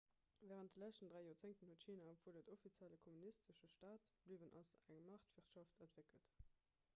wärend de leschten dräi joerzéngten huet china obwuel et offiziell e kommunistesche staat bliwwen ass eng maartwirtschaft entwéckelt